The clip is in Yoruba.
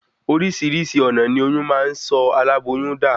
Orísirísi ònà ní oyún máa n sọ aláboyún da